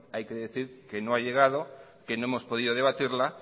hay que decir que no ha llegado que no hemos podido debatirla